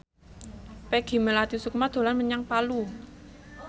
Peggy Melati Sukma dolan menyang Palu